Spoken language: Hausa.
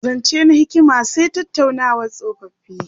Zance na hikima sa tattaunawar tsofoffi.